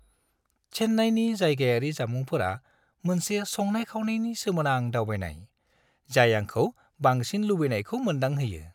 चेन्नाईनि जायगायारि जामुंफोरा मोनसे संनाय-खावनायनि सोमोनां दावबायनाय, जाय आंखौ बांसिन लुबैनायखौ मोनदांहोयो।